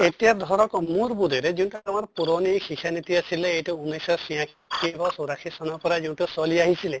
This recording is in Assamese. এতিয়া ধৰক মোৰ বোধেৰে যোন আমাৰ পুৰণি শিক্ষা নীতি আছিলে এইটো ঊনৈছ শ ছিয়াশী হৌৰাশী চনৰ পৰা যোনটো চলি আহিছিলে